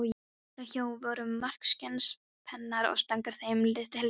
Þar hjá voru margskyns pennar og stangir þeim tilheyrandi.